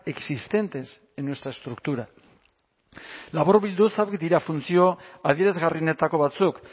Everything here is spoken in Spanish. existentes en nuestra estructura laburbilduz hauek dira funtzio adierazgarrienetako batzuk